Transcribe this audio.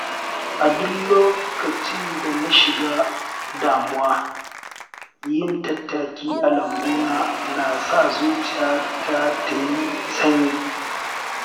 A duk lokacin da na shiga damuwa, yin tattaki a lambuna na sa zuciyata ta yi sanyi.